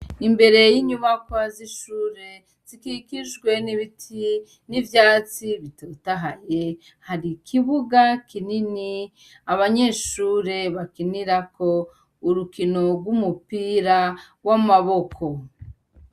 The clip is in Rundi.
Imbere y'inyubakwa z'ishure, zikikijwe n'ibiti, n'ivyatsi bitotahaye, hari ikibuga kinini abanyeshure bakinirako urukino rw'umupira w'amaboko.